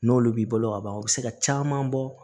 N'olu b'i bolo ka ban o bɛ se ka caman bɔ